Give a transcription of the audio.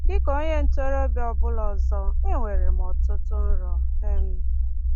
Dị ka onye ntorobịa ọ bụla ọzọ, enwere m ọtụtụ nrọ. um